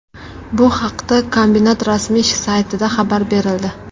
Bu haqda kombinat rasmiy saytida xabar berildi .